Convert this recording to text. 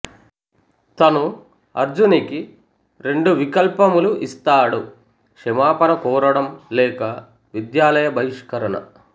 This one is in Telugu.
తను అర్జున్కి రెండు వికల్పములు ఇస్తాడు క్షమాపణ కోరిడం లేక విద్యాలయ బహిష్కరణ